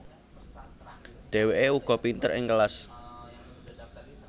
Dheweke uga pinter ing kelas